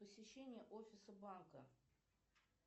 посещение офиса банка